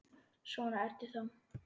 Svona ertu þá!